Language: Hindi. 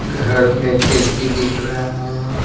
घर में खिड़की दिख रहा है।